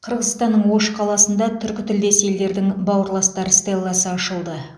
қырғызстанның ош қаласында түркітілдес елдердің бауырластар стелласы ашылды